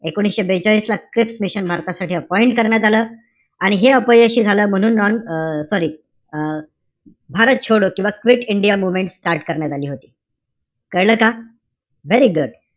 एकोणीशे बेचाळीस ला क्रिप्स मिशन भारतासाठी appoint करण्यात आलं. आणि अपयशी झालं म्हणून non sorry भारत छोडो किंवा क्विट इंडिया मूवमेंट start करण्यात आली होती. कळलं का? Very good